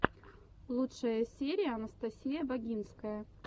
лучшая серия анастасия багинская